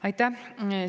Aitäh!